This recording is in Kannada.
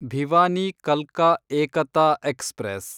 ಭಿವಾನಿ ಕಲ್ಕಾ ಏಕತಾ ಎಕ್ಸ್‌ಪ್ರೆಸ್